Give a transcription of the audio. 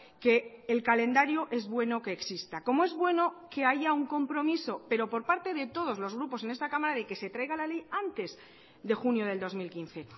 que el calendario es bueno que exista como es bueno que haya un compromiso pero por parte de todos los grupos en esta cámara de que se traiga la ley antes de junio del dos mil quince